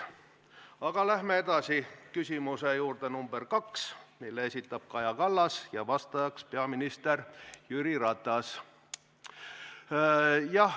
Aga läheme edasi küsimuse nr 2 juurde, mille esitab Kaja Kallas ja vastaja on peaminister Jüri Ratas.